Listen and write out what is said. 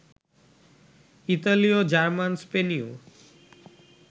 ইতালীয়, জার্মান, স্পেনীয়